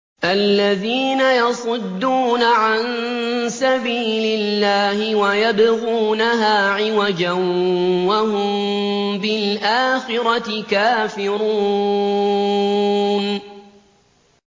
الَّذِينَ يَصُدُّونَ عَن سَبِيلِ اللَّهِ وَيَبْغُونَهَا عِوَجًا وَهُم بِالْآخِرَةِ كَافِرُونَ